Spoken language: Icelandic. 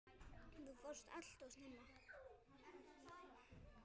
Þú fórst allt of snemma.